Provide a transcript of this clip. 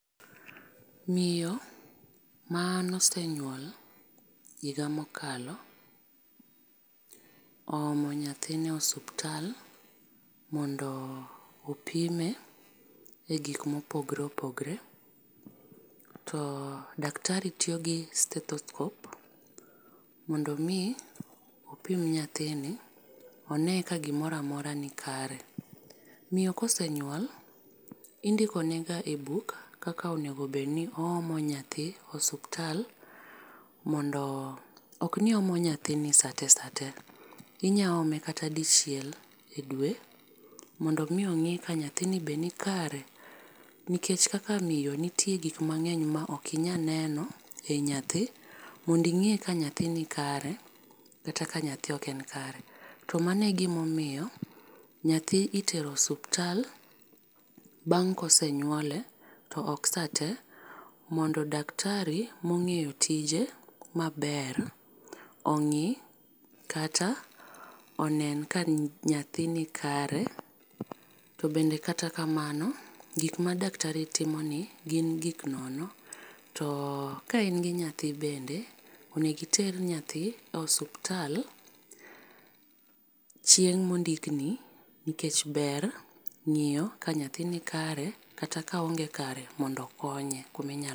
Miyo man osenyuol higa mokalo oomo nyathine osiptal mondo opime e gik mopogore opogore to daktari tiyo gi stethoscope mondo mi opime nyathini one ka gimoro amora ni kare. Miyo kosenyuol indiko ne ga e buk kaka onego bed ninoomo nyathi e osiptal mondo ok ni oomo nyathi saa te saa te inya ome kata dichiel e dwe mondo mi ong'i ni nyathi ni be ni kare nikech kaka miyo nitie gik mang'eny ma ok inya neno ir nyathi mondo ing'e ka nyathi ni kare kata ka nyathi ok n kare. Mano e gi ma omiyo nyathi itero osiptal bang' kosenyuole to ok saa te mondo daktari ma ong'eyo tije ma ber ongi kata onen ka nyathi ni kare to bende kata kamano gik ma daktari timo gi gin gik nono. To ka in gi nyathi bende onego iter nyathi e osiptal chieng ma ondik ni nikech ber ng'iyo ka nyathi ni kare kata ka oonge kare mondo okonye kuma inyalo.